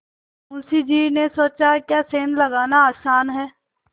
मुंशी जी ने सोचाक्या सेंध लगाना आसान है